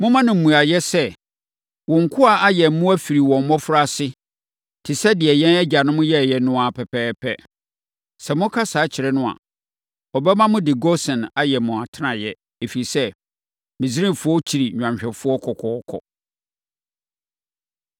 momma no mmuaeɛ sɛ, ‘Wo nkoa ayɛn mmoa firi wɔn mmɔfraase, te sɛ deɛ yɛn agyanom yɛeɛ no ara pɛpɛɛpɛ.’ Sɛ moka saa kyerɛ no a, ɔbɛma mode Gosen ayɛ mo atenaeɛ, ɛfiri sɛ, Misraimfoɔ kyiri nnwanhwɛfoɔ kɔkɔɔkɔ.”